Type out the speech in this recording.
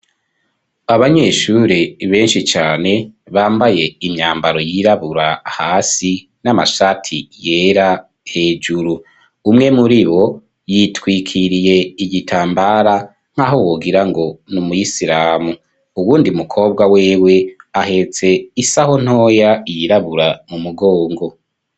Abanyeshuri beshi cane bambaye imyambaro yirabura hasi n'amashati yera hejuru umwe muri bo yitwikiriye igitambara nkaho wogirango n'umuyisiramu uwundi mu kobwa wewe ahetse isaho ntoya yirabura mu mugongo.